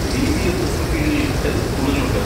ബി.ബി.എഫ്.എസ്സിനു കീഴിൽ എത്ര സ്കൂളുകൾ ഉണ്ട്?